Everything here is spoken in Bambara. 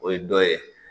O ye dɔ ye